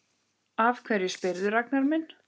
Af hverju spyrðu, Ragnar minn?